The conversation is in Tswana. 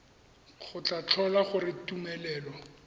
go tla tlhola gore tumelelo